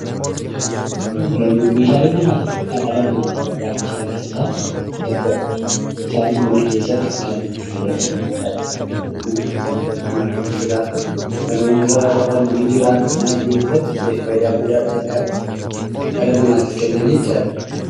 Meeshaalee manaa jechuun kan dhala namaatiif barbaachisan keessaa isa tokkodha. Isaaniis mana keessatti kan itti fayyadamnu jechuudha. Kanneen irratti nyaatan ni jira, kan irra rafan nijira. Kan mana keessatti faayidaa guddaa dhala namaatiif kennan jechuudha.